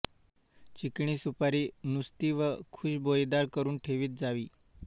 चिकणी सुपारी नुस्ती व खुषबोईदार करून ठेवीत जावी